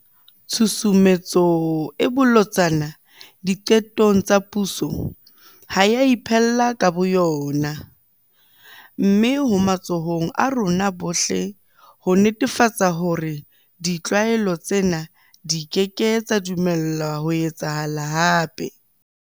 Tshusumetso e bolotsana diqetong tsa puso ha e a iphella ka bo yona. Mme ho matsohong a rona bohle ho netefatsa hore ditlwaelo tsena di keke tsa dumellwa ho etsahala hape.